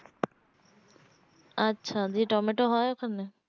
আচ্ছা দিয়ে টমেটো হয় ওখানে